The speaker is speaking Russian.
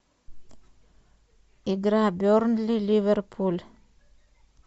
игра бернли ливерпуль